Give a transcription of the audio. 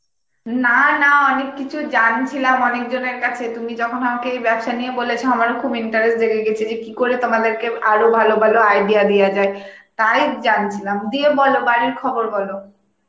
না না অনেক কিছু জানছিলাম অনেক জনের কাছে তুমি যখন আমাকে এই ব্যবসা নিয়ে বলেছ আমারও খুব interest জেগে গেছে যে কি করে তোমাদেরকে আরো ভালো ভালো idea দেওয়া যায় তাই জানছিলাম দিয়ে বলো বাড়ির খবর বলো.